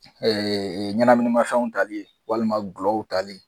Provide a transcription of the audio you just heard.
Ɛɛ ɲɛnaminimafɛnw tali ye walima gulɔw tali.